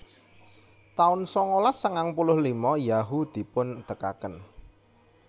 taun sangalas sangang puluh lima Yahoo dipundegaken